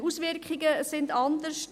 Die Auswirkungen sind anders.